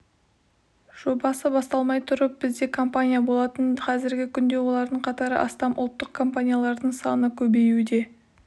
жобасы басталмай тұрып бізде компания болатын қазіргі күнде олардың қатары астам ұлттық компаниялардың саны көбеюде